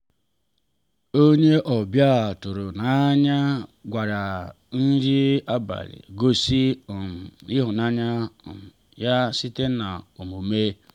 onye ọbịa tụrụ n’anya gwakwara nri abalị gosi um ịhụnanya um ya site n’omume.